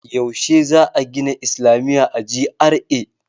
Yaushe za a gina islamiya a GRA?